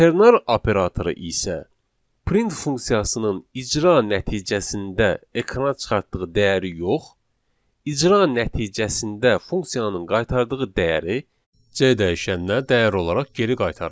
Ternar operatoru isə print funksiyasının icra nəticəsində ekrana çıxartdığı dəyəri yox, icra nəticəsində funksiyanın qaytardığı dəyəri C dəyişəninə dəyər olaraq geri qaytarır.